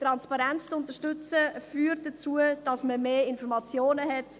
Transparenz zu unterstützen, führt dazu, dass man mehr Informationen hat.